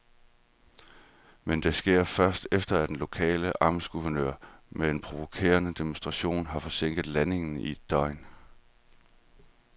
Men det sker først, efter at den lokale amtsguvernør med en provokerende demonstration har forsinket landingen i et døgn.